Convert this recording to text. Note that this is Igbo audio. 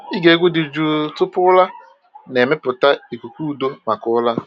Ịge egwu dị jụụ tupu ụra na-emepụta ikuku udo maka ụra.